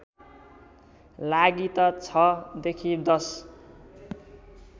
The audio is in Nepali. लागि त ६ देखि १०